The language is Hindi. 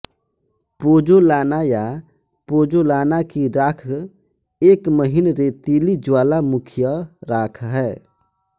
पोज़ोलाना या पोज़ोलाना की राख एक महीन रेतीली ज्वालामुखीय राख है